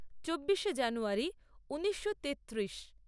চব্বিশে জানুয়ারী ঊনিশো তেত্রিশ